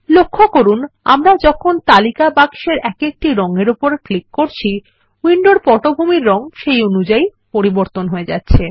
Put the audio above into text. লক্ষ্য করুন আমরা যখন তালিকা বাক্সের এক একটি রঙের উপর ক্লিক করছি উইন্ডোর পটভূমির রঙ সেই অনুযায়ী হয়ে যাচ্ছে